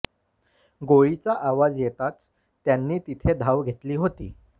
गोळीचा आवाज येताच त्यांनी तिथे धाव घेतली होती